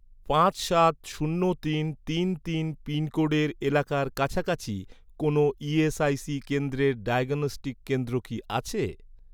পাঁচ সাত শূন্য তিন তিন তিন পিনকোডের এলাকার কাছাকাছি, কোনও ইএসআইসি কেন্দ্রের ডায়াগনস্টিক কেন্দ্র কি আছে?